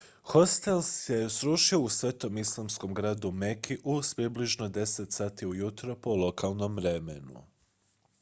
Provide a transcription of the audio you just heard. hostel se srušio u svetom islamskom gradu meki u približno 10 sati ujutro po lokalnom vremenu